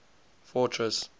fortress